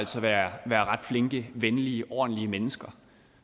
være ret flinke venlige ordentlige mennesker